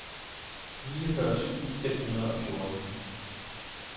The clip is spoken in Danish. niogfyrre tusind fem hundrede og fjorten